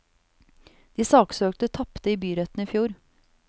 De saksøkte tapte i byretten i fjor.